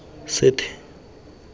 sethe